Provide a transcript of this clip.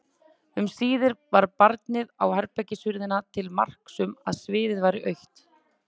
Um síðir var barið á herbergishurðina til marks um að sviðið væri autt.